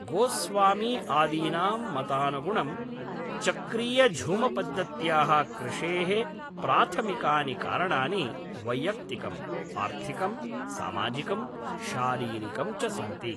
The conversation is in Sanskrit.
गोस्वामी आदीनां मतानुगुणं, चक्रीयझूमपद्धत्याः कृषेः प्राथमिकानि कारणानि वैयक्त्तिकम्, आर्थिकं, सामाजिकं, शारीरिकं च सन्ति।